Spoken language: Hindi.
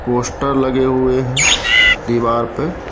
पोस्टर लगे हुए हैं दीवार पे।